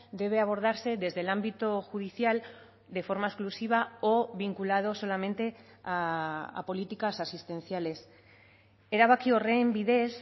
debe abordarse desde el ámbito judicial de forma exclusiva o vinculado solamente a políticas asistenciales erabaki horren bidez